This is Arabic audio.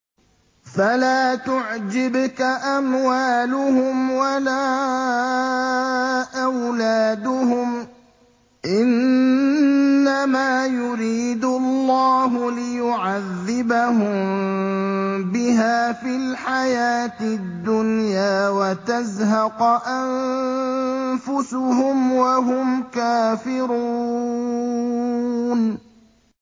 فَلَا تُعْجِبْكَ أَمْوَالُهُمْ وَلَا أَوْلَادُهُمْ ۚ إِنَّمَا يُرِيدُ اللَّهُ لِيُعَذِّبَهُم بِهَا فِي الْحَيَاةِ الدُّنْيَا وَتَزْهَقَ أَنفُسُهُمْ وَهُمْ كَافِرُونَ